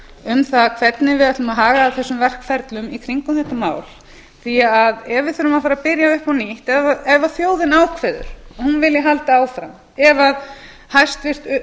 um það hvernig við ætlum að haga þessum verkferlum í kringum þetta mál því að ef við þurfum að fara að byrja upp á nýtt ef þjóðin ákveður að hún vilji halda áfram ef hæstvirt